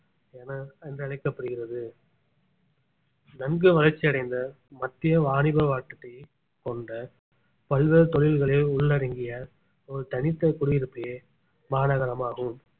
என என்றழைக்கப்படுகிறது நன்கு வளர்ச்சி அடைந்த மத்திய வாணிப கொண்ட பல்வேறு தொழில்களை உள்ளடங்கிய ஒரு தனித்த குடியிருப்பே மாநகரமாகும்